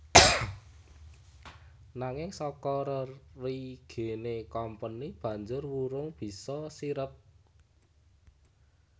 Nanging saka rerigené Kompeni banjur wurung bisa sirep